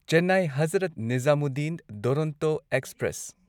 Chennai Hazrat Nizamuddin Duronto express